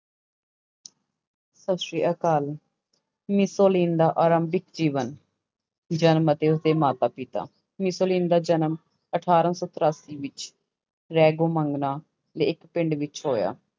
ਸਤਿ ਸ੍ਰੀ ਅਕਾਲ ਮਿਸੋਲੀਨ ਦਾ ਆਰੰਭਿਕ ਜੀਵਨ, ਜਨਮ ਅਤੇ ਉਸਦੇ ਮਾਤਾ ਪਿਤਾ, ਮਿਸੋਲੀਨ ਦਾ ਜਨਮ ਅਠਾਰਾਂ ਸੌ ਤਰਾਸੀ ਵਿੱਚ ਰੈਗੋ ਮੰਗਨਾ ਦੇ ਇੱਕ ਪਿੰਡ ਵਿੱਚ ਹੋਇਆ।